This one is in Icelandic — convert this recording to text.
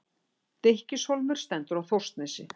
Stykkishólmur stendur á Þórsnesi.